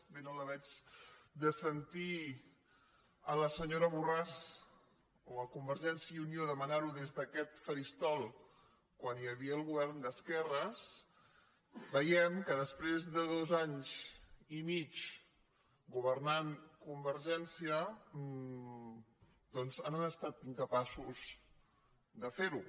bé no la veig de sentir la senyora borràs o conver·gència i unió demanar·ho des d’aquest faristol quan hi havia el govern d’esquerres veiem que després de dos anys i mig governant convergència doncs han estat incapaços de fer·ho